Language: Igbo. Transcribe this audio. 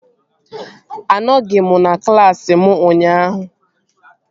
Anọghị m na klaasị m ụnyaahụ